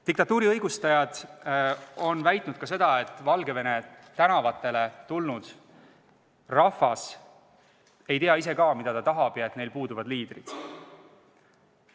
Diktatuuri õigustajad on väitnud sedagi, et Valgevene tänavatele tulnud rahvas ei tea ka ise, mida nad tahavad, ja et neil puuduvad liidrid.